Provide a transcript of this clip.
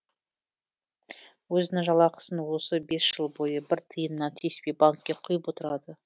өзінің жалақысын осы бес жыл бойы бір тиынына тиіспей банкке құйып отырады